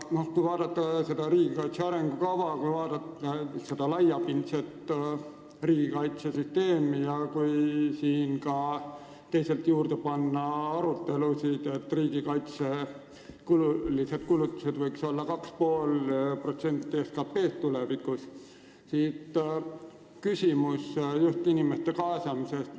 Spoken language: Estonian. Kui vaadata riigikaitse arengukava, samuti laiapindset riigikaitsesüsteemi ja teisalt siia juurde panna arutelud selle üle, et riigikaitselised kulutused võiksid tulevikus olla 2,5% SKT-st, siit tekib küsimus inimeste kaasamise kohta.